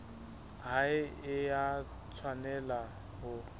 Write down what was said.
ha e a tshwanela ho